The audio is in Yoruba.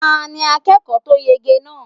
Ta ní akẹ́kọ̀ọ́ tó yege náà?